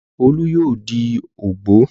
Olú yóò di ògbó.